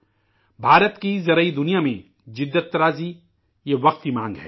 ہندوستان کی زرعی شعبہ میں جدت وقت کی ضرورت ہے